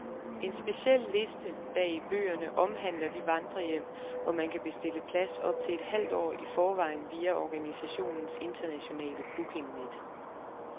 En speciel liste, bag i bøgerne, omhandler de vandrerhjem, hvor man kan bestille plads op til et halvt år i forvejen via organisationens internationale bookingnet.